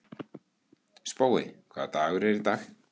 Spói, hvaða dagur er í dag?